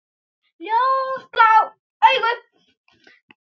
Ljósblá augu.